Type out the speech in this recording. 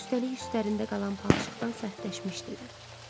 Üstəlik üstlərində qalan palçıqdan sərtləşmişdilər.